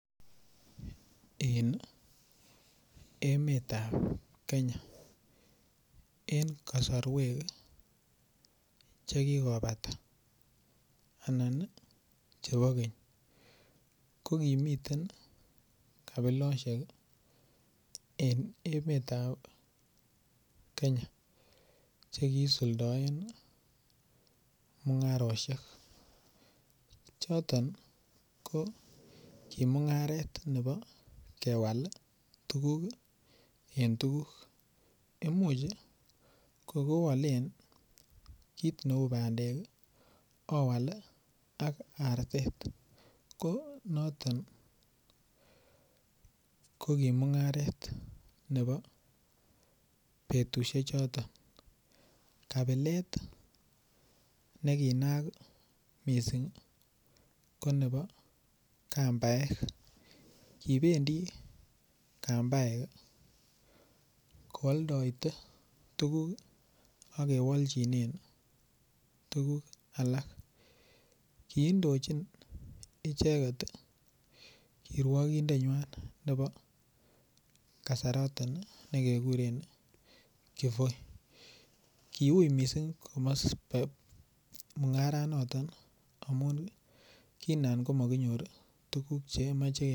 En emet ab Kenya eng' kasarwek chekigopata anan chepo keny ko kimiten kabilosiek eng' emet ab Kenya chekisuldaen mung'aroshek choton ko ki mung'aret nepo kewal tuguk en tuguk imuch kogowalen kiit neu pandek owal ak artet ko noton ko ki mung'aret nepo petusiek chotok kabilet ne kinayak mising' ko nepo kambaek kipendi kambaek koaldaite tuguk akewaljinen tuguk alak kiindochin icheket kirwagindet ng'way nepo kasaroton nekeguren Kivoi kiuy mising' simame mung'ara notok amun kinaan makinyoru tuguk chekemache.